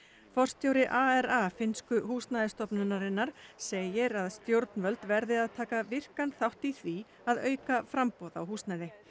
forstjóri ARA finnsku húsnæðisstofnunarinnar segir að stjórnvöld verði að taka virkan þátt í því að auka framboð á húsnæði